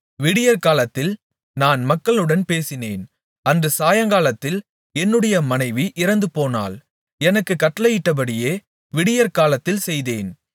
விடியற்காலத்தில் நான் மக்களுடன் பேசினேன் அன்று சாயங்காலத்தில் என்னுடைய மனைவி இறந்துபோனாள் எனக்குக் கட்டளையிட்டபடியே விடியற்காலத்தில் செய்தேன்